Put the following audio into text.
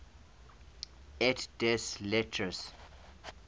et des lettres